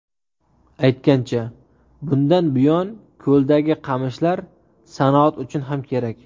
Aytgancha, bundan buyon ko‘ldagi qamishlar sanoat uchun ham kerak.